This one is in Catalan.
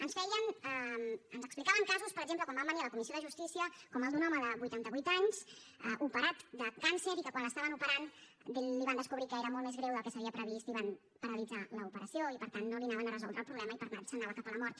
ens explicaven casos per exemple quan van venir a la comissió de justícia com el d’un home de vuitanta vuit anys operat de càncer i que quan l’estaven operant li van descobrir que era molt més greu del que s’havia previst i van paralitzar l’operació i per tant no li anaven a resoldre el problema i per tant se’n anava cap a la mort